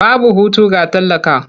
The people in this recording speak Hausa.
Babu hutu ga talaka.